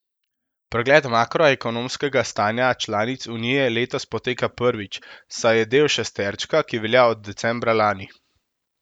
Pregled makroekonomskega stanja članic Unije letos poteka prvič, saj je del šesterčka, ki velja od decembra lani.